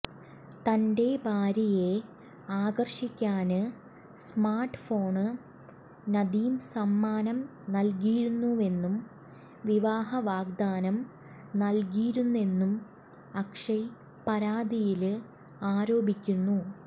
തന്റെ ഭാര്യയെ ആകര്ഷിക്കാന് സ്മാര്ട് ഫോണ് നദീം സമ്മാനം നല്കിയിരുന്നുവെന്നും വിവാഹ വാഗ്ദാനം നല്കിയിരുന്നെന്നും അക്ഷയ് പരാതിയില് ആരോപിക്കുന്നു